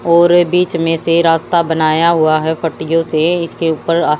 और बीच में से रास्ता बनाया हुआ है पट्टियों से इसके ऊपर आ--